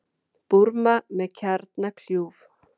Búrma með kjarnakljúf